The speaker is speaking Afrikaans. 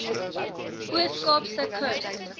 oos kaapse kus